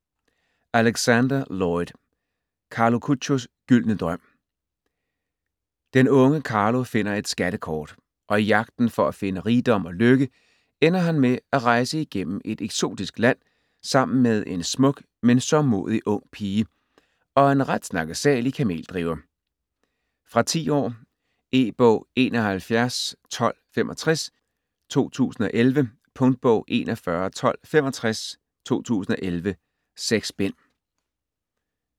Alexander, Lloyd: Carlo Chuchios gyldne drøm Den unge Carlo finder et skattekort, og i jagten for at finde rigdom og lykke ender han med at rejse igennem et eksotisk land, sammen med en smuk men sørgmodig ung pige og en ret snakkesalig kameldriver. Fra 10 år. E-bog 711265 2011. Punktbog 411265 2011. 6 bind.